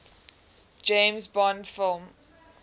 james bond film